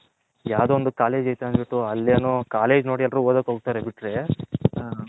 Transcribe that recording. ಯಾವ್ದೊ ಒಂದು ಕಾಲೇಜ್ ಅಯ್ತೆ ಅಂದ್ಬುಟಿ ಅಲ್ಲಿ ಏನೋ ಕಾಲೇಜ್ ನೋಡಿ ಎಲ್ಲರು ಓದಾಕೆ ಒಗ್ತಾರೆ ಬಿಟ್ರೆ